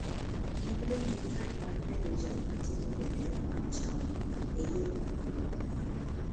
Ne odong'o gi kad mar bedo jal ma ting'o bendera mar chama e yiero maduong' mabiro